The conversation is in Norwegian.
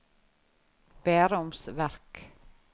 Bærums Verk